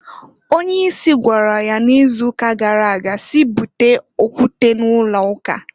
Onye isi gwara ya n'izuuka gara aga si, "Bute okwute n'ụlọụka!"